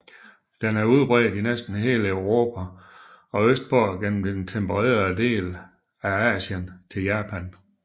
Den er udbredt i næsten hele Europa og østpå gennem den tempererede del af Asien til Japan